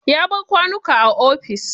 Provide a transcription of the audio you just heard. Ya bar kwanuka a ofis.